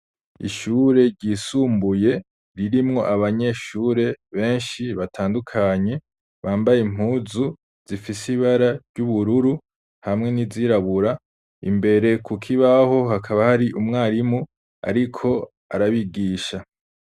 Ishure ryisumbuye ririmwo abanyeshure benshi batandukanye, bambay' impuzu zifis' ibara ry'ubururu hamwe n'izirabura imbere kukibaho hakaba hari umwarimu ariko arabigisha